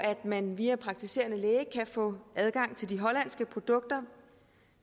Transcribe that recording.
man via praktiserende læge kan få adgang til de hollandske produkter